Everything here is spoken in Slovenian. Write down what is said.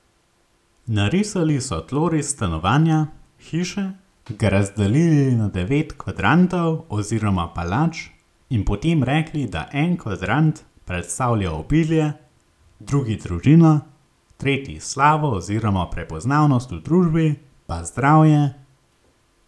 Narisali so tloris stanovanja, hiše, ga razdelili na devet kvadrantov oziroma palač, in potem rekli, da en kvadrant predstavlja obilje, drugi družino, tretji slavo oziroma prepoznavnost v družbi, pa zdravje...